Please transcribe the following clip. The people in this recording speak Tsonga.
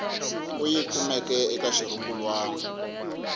u yi kumeke eka xirungulwana